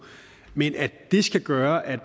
men at det skal gøre at